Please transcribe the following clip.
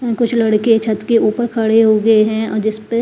कुछ लड़के छत के ऊपर खड़े हो गए हैं और जिसपे--